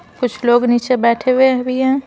कुछ लोग नीचे बैठे हुए भी हैं।